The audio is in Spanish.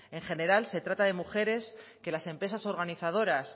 en general se trata de mujeres que las empresas organizadoras